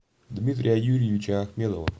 дмитрия юрьевича ахмедова